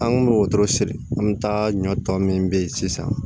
An kun bɛ wotoro siri an bɛ taa ɲɔ tɔ min bɛ ye sisan